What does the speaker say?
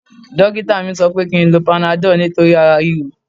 Dókítà mi sọ pé kí n lo panadọ́ọ̀ nítorí ara ríro